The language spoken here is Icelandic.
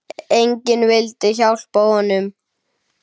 Enginn vildi hjálpa honum.